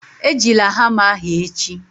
Ejila hama ahụ echi